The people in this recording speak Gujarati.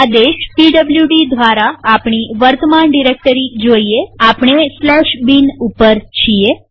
આદેશ પીડબ્લુડી દ્વારા આપણી વર્તમાન ડિરેક્ટરી જોઈએઆપણે bin ઉપર છીએ